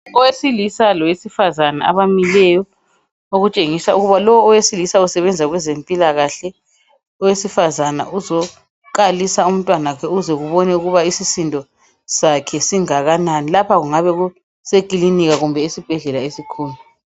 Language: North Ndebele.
Owesilisa lowesifazana abamileyo okutshengisa ukuthi lo owesilisa usebenza kwezempilakahle, owesifazana uzokalisa umntanakhe ukuze ubone ukuba isisindo sakhe singakanani. Lapha kungabe kusekilinika kumbe esibhedlela esikhulu.